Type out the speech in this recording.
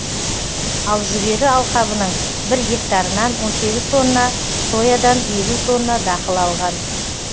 ал жүгері алқабының бір гектарынан он сегіз тонна соядан елу тонна дақыл алған